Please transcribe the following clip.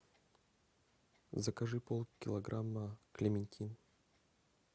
закажи полкилограмма клементин